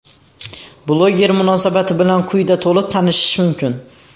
Bloger munosabati bilan quyida to‘liq tanishish mumkin.